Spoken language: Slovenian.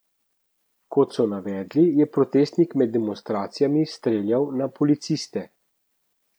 Kot so navedli, je protestnik med demonstracijami streljal na policiste.